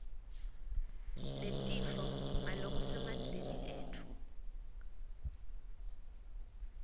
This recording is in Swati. netifo ngalokusemandleni etfu